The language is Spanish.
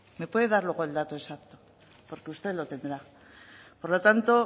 me puede dar luego el dato exacto porque usted lo tendrá por lo tanto